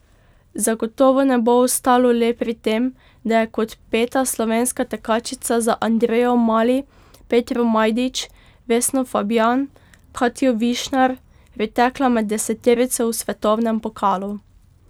Zagotovo ne bo ostalo le pri tem, da je kot peta slovenska tekačica za Andrejo Mali, Petro Majdič, Vesno Fabjan, Katjo Višnar pritekla med deseterico v svetovnem pokalu.